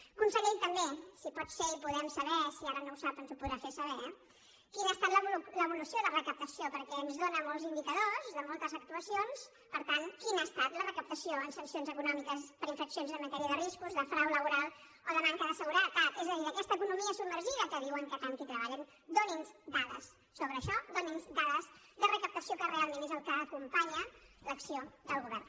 i conseller també si pot ser i podem saber si ara no ho sap ens ho podrà fer saber quina ha estat l’evolució de recaptació perquè ens dóna molts indicadors de moltes actuacions per tant quina ha estat la recaptació en sancions econòmiques per infraccions en matèria de riscos de frau laboral o de manca de seguretat és a dir d’aquesta economia submergida que diuen que tant hi treballen doni’ns dades sobre això doni’ns dades de recaptació que realment és el que acompanya l’acció del govern